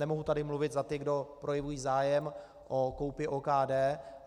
Nemohu tady mluvit za ty, kdo projevují zájem o koupi OKD.